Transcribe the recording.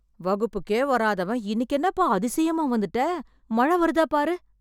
வகுப்புக்கே வராதவன் இன்னிக்கு என்னப்பா அதிசயமா வந்துட்டே... மழை வருதா பாரு.